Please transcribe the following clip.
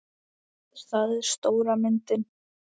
Það er stóra myndin.